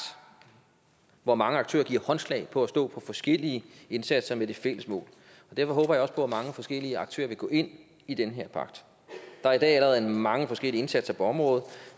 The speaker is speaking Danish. hvor mange aktører giver håndslag på at stå for forskellige indsatser med det fælles mål og derfor håber jeg også på at mange forskellige aktører vil gå ind i den her pagt der er i dag allerede mange forskellige indsatser på området